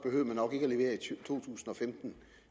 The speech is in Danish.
tusind og femten